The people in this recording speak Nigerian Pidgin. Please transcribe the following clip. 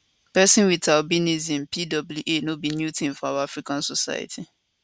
pesin wit albinism pwa no be new tin for our african society